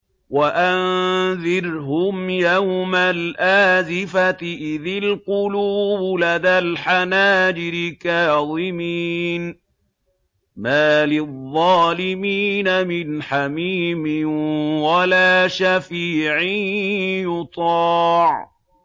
وَأَنذِرْهُمْ يَوْمَ الْآزِفَةِ إِذِ الْقُلُوبُ لَدَى الْحَنَاجِرِ كَاظِمِينَ ۚ مَا لِلظَّالِمِينَ مِنْ حَمِيمٍ وَلَا شَفِيعٍ يُطَاعُ